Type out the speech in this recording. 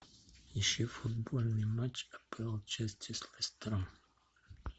ищи футбольный матч апл челси с лестером